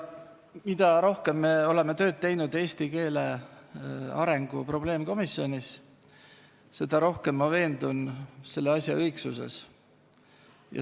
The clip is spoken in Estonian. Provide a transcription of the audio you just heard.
Mida rohkem me oleme eesti keele õppe arengu probleemkomisjonis tööd teinud, seda rohkem olen veendunud selle asja õigsuses.